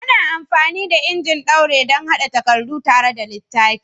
Ana amfani da injin ɗaure don haɗa takardu tare kamar littafi.